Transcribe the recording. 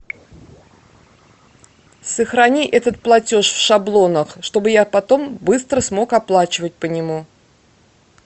сохрани этот платеж в шаблонах чтобы я потом быстро смог оплачивать по нему